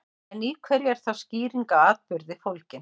En í hverju er þá skýring á atburði fólgin?